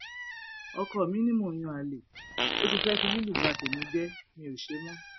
ọkọ mi ni mò ń yan àlè ó ti fẹẹ fi lílù bá tèmi jẹ mi ò ṣe mọ